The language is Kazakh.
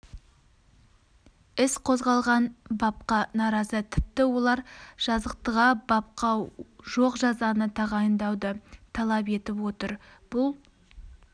іс қозғалған бапқа наразы тіпті олар жазықтыға бапта жоқ жазаны тағайындауды талап етіп отыр бұл